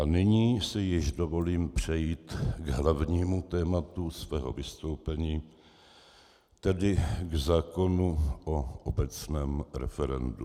A nyní si již dovolím přejít k hlavnímu tématu svého vystoupení, tedy k zákonu o obecném referendu.